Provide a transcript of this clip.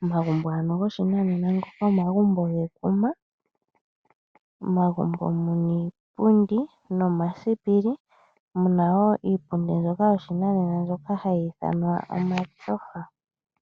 Omagumbo ano goshinanena ngoka omagumbo gekuma. Omagumbo mu na iipundi nomasipili. Mu na wo iipundi ndyoka yoshinanena mbyoka hayi ithanwa omatyofa.